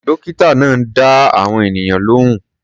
Dọ́kítà náà ń dá àwọn ènìyàn lóhùn.